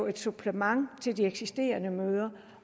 et supplement til de eksisterende møder